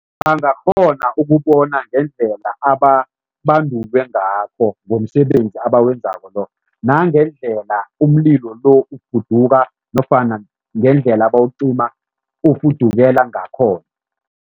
Bangakghona ukubona ngendlela ababandulwe ngakho ngomsebenzi abawenzako lo nangendlela umlilo lo nofana ngendlela bawucima ufudukela ngakhona.